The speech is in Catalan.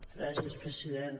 gràcies president